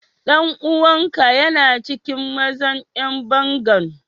Dan uwan ka yana cikin mazan yan bangan?